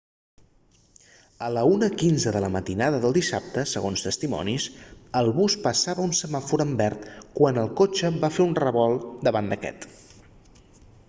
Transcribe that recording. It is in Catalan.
a la 1:15 de la matinada del dissabte segons testimonis el bus passava un semàfor en verd quan el cotxe va fer un revolt davant d'aquest